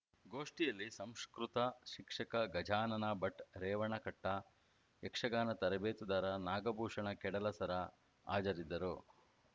ಗೋಷ್ಠಿಯಲ್ಲಿ ಸಂಸ್ಕೃತ ಶಿಕ್ಷಕ ಗಜಾನನ ಭಟ್‌ ರೇವಣಕಟ್ಟಾ ಯಕ್ಷಗಾನ ತರಬೇತುದಾರ ನಾಗಭೂಷಣ ಕೇಡಲಸರ ಹಾಜರಿದ್ದರು